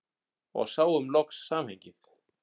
Og sáum loksins samhengið.